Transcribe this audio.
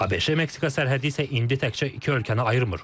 ABŞ-Meksika sərhədi isə indi təkcə iki ölkəni ayırmır.